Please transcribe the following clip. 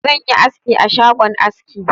Zan yi aski a shgon aski.